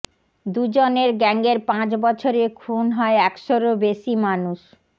দুজনের গ্যাঙের পাঁচ বছরে খুন হয় একশোরও বেশি মানুষ